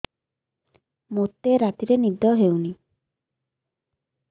ମୋତେ ରାତିରେ ନିଦ ହେଉନି